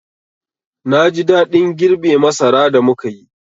Na ji daɗin girbe masara da muka yi.